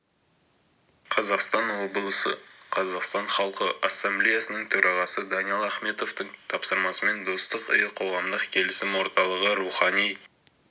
қазақстан облысы қазақстан халқы ассамблеясының төрағасы даниал ахметовтің тапсырмасымен достық үйі қоғамдық келісім орталығы рухани